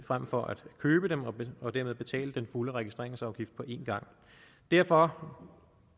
frem for at købe dem og og dermed betale den fulde registreringsafgift på en gang derfor